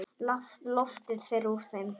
Loftið fer úr þeim.